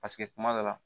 Paseke kuma dɔ la